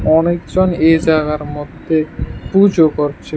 অনেকজন এ জায়গার মধ্যে পূজো করছে।